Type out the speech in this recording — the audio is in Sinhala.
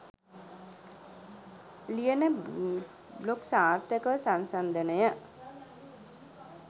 ලියන බ්ලොග් සාර්ථකව සංසන්දනය